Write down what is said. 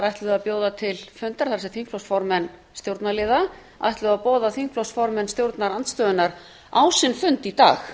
ætluðu að bjóða til fundar það er þingflokksformenn stjórnarliða ætluðu að boða þingflokksformenn stjórnarandstöðunnar á sinn fund í dag